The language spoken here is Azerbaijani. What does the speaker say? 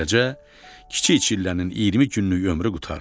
Beləcə, Kiçik Çillənin 20 günlük ömrü qurtardı.